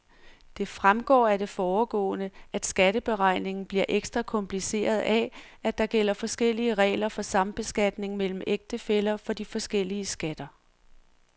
Det fremgår af det foregående, at skatteberegningen bliver ekstra kompliceret af, at der gælder forskellige regler for sambeskatning mellem ægtefæller for de forskellige skatter.